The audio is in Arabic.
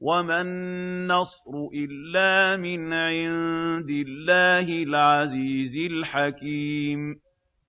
وَمَا النَّصْرُ إِلَّا مِنْ عِندِ اللَّهِ الْعَزِيزِ الْحَكِيمِ